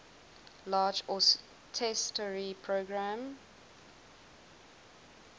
large austerity program